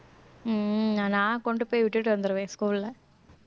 உம் நான் கொண்டு போய் விட்டுட்டு வந்துடுவேன் school ல